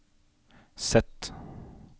Z